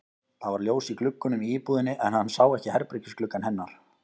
Það var ljós í gluggunum í íbúðinni en hann sá ekki herbergisgluggann hennar.